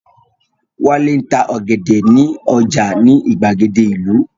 Wálé ń ta ọ̀gẹ̀dẹ̀ ní ọjà ní ìgbàgede ìlú